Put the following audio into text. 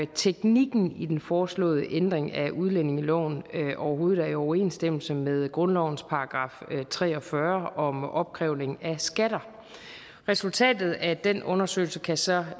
teknikken i den foreslåede ændring af udlændingeloven overhovedet er i overensstemmelse med grundlovens § tre og fyrre om opkrævning af skatter resultatet af den undersøgelse kan så